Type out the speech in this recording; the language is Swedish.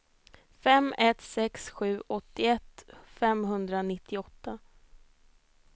fem ett sex sju åttioett femhundranittioåtta